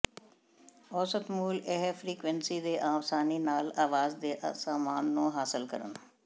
ਔਸਤ ਮੁੱਲ ਇਹ ਫਰੀਕੁਇੰਸੀ ਦੇ ਆਸਾਨੀ ਨਾਲ ਆਵਾਜ਼ ਦੇ ਸਾਮਾਨ ਨੂੰ ਹਾਸਲ ਕਰਨ